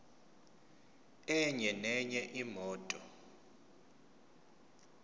enye nenye imoto